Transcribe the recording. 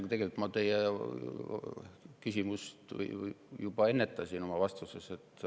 Aga tegelikult ma teie küsimust oma vastuses juba ennetasin.